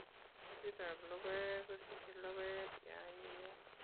Ketitap lokoek kusichei lokoek chionyinyen.